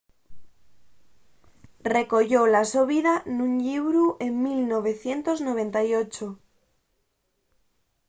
recoyó la so vida nun llibru en 1998